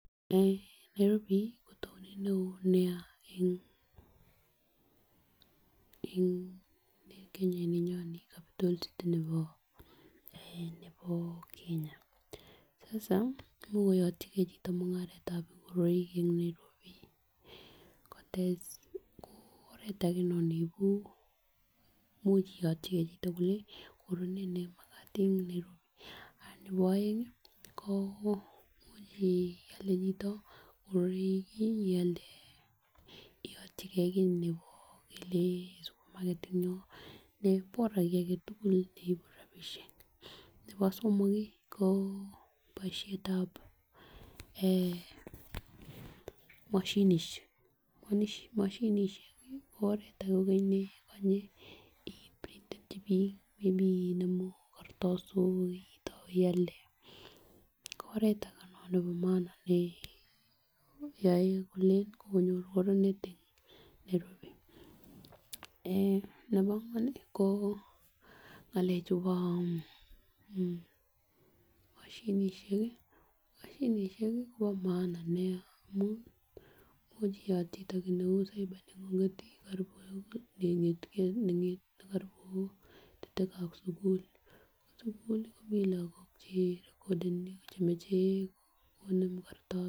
Eeh Nairobi ko townit neo Nia eh Kenya ininyon nii Capita city nebo eeh nebo Kenya sasa imuch koyotyigee chito mungaretab ngoroik en Nairobi kotesen ko oret age non neibu imuch iyotyigee chito kole Koro nee nemakat en Nairobi. Nebo oengi ko muchi ialde chito ingoroik kii ialde iyotyigee kii nebo ngele supermarket en yon ne bora kii agetutuk neibu rabishek. Nebo somok kii boishetab eeh moshinishek, moshinishek kii ko oret age kokeny nekonye iib ii printenchi bik may be inemu kartasok itou ialde ko oret age non nebo maana neyoe kole yoe kole kokonyor koronet en Nairobi ,Eh nebo angwan ko ngalek chubo moshinishek kii moshinishek kii Kobo maana Nia amun much iyat chito kit neu cyber nengunget karibu nengeten mii karibu neto lokab sukul, ko sukul komii lokok che rekodeni chemoche konem kartasok.